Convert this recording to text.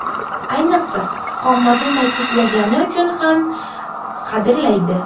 Ayniqsa, qomatni ta’kidlagani uchun ham qadrlaydi.